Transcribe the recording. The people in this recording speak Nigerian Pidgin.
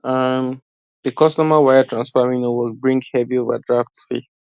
um di customer wire transfer wey no work bring heavy overdraft fee